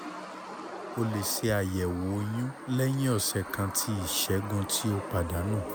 o le ṣe ayẹwo oyun lẹhin ọsẹ kan ti isẹgun ti o padanu